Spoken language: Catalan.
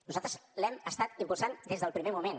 nosaltres l’hem estat impulsant des del primer moment